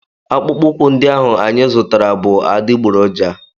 Akpụkpọ ụkwụ ndị ahụ anyị zụtara bụ adịgboroja.